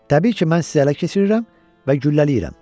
Təbii ki, mən sizi ələ keçirirəm və güllələyirəm.